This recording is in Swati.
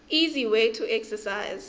easy way to exercise